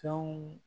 Fɛnw